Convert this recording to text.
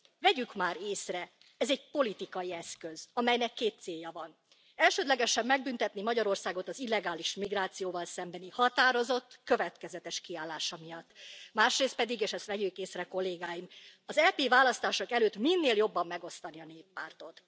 Vegyük már észre, hogy ez egy politikai eszköz, amelynek két célja van elsődlegesen megbüntetni Magyarországot az illegális migrációval szembeni határozott, következetes kiállása miatt, másrészt pedig és vegyük észre, Kollégáim, az EP választások előtt minél jobban megosztani a Néppártot.